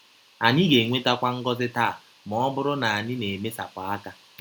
Anyị ga - enwetakwa ngọzi taa ma ọ bụrụ na anyị na - emesapụ aka.